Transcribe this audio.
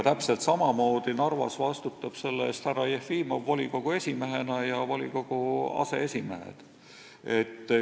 Täpselt samamoodi vastutab Narvas selle eest härra Jefimov volikogu esimehena ja vastutavad volikogu aseesimehed.